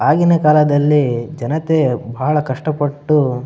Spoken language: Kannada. ಆಗಿನ ಕಾಲದಲ್ಲಿ ಜನತೆ ಬಹಳ ಕಷ್ಟ ಪಟ್ಟು --